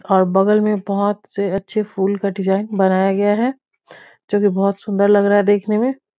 और बगल में बहुत से अच्छे फूल का डिज़ाइन बनाया गया है जो कि बहुत सुंदर लग रहा है देखने में।